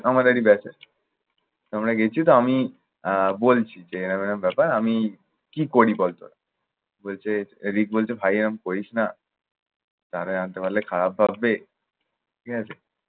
আমাদেরই batch এর। আমরা গেছি তো আমি আহ বলছি যে এরম এরম ব্যাপার। আমি কি করি বল তোরা। বলছে ঋক বলছে ভাই এরকম করিস না। তাহলে খারাপ ভাববে ঠিক আছে?